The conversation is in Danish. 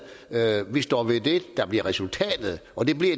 vi står ved det der bliver resultatet og